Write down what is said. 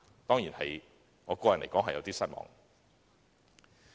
當然，我個人對此感到有點失望。